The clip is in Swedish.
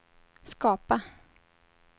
skapa